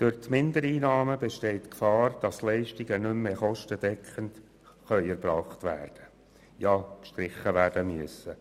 Durch die Mindereinnahmen besteht die Gefahr, dass Leistungen nicht mehr kostendeckend erbracht werden können oder gar gestrichen werden müssen.